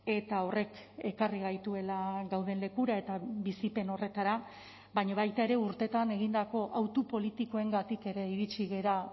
eta horrek ekarri gaituela gauden lekura eta bizipen horretara baina baita ere urteetan egindako autu politikoengatik ere iritsi gara